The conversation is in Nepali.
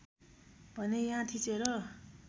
भने यहाँ थिचेर